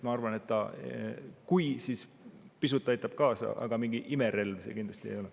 Ma arvan, et kui, siis pisut see aitab kaasa, aga mingi imerelv see kindlasti ei ole.